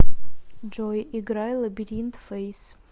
джой играй лабиринт фэйс